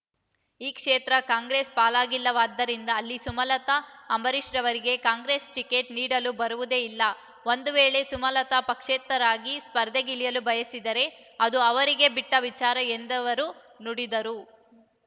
ಈ ಕ್ಷೇತ್ರ ಕಾಂಗ್ರೆಸ್ ಪಾಲಿಗಿಲ್ಲವಾದ್ದರಿಂದ ಅಲ್ಲಿ ಸುಮಲತಾ ಅಂಬರೀಷರವರಿಗೆ ಕಾಂಗ್ರೆಸ್ ಟಿಕೆಟ್ ನೀಡಲು ಬರುವುದೇ ಇಲ್ಲ ಒಂದು ವೇಳೆ ಸುಮಲತಾ ಪಕ್ಷೇತರರಾಗಿ ಸ್ಪರ್ಧೆಗಿಳಿಯಲು ಬಯಸಿದರೆ ಅದು ಅವರಿಗೆ ಬಿಟ್ಟ ವಿಚಾರ ಎಂದವರು ನುಡಿದರು